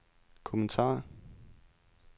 kommentar